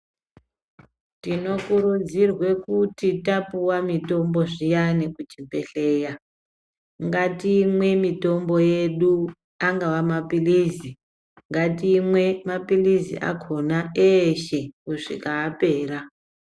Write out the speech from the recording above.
Tinokurudzirwa kuti tapuwa mitombo zviyani kuchibhedhleya, ngatimwe mitombo yedu. Angava mapilizi, ngatimwe mapilizi akhona eshee kusvika yapera.